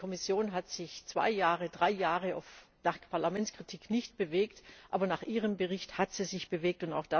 Die Kommission hat sich zwei, drei Jahre nach Parlamentskritik nicht bewegt, aber nach Ihrem Bericht hat sie sich bewegt.